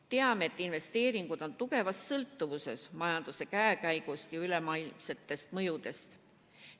Teame, et investeeringud on tugevas sõltuvuses majanduse käekäigust ja ülemaailmsetest mõjudest.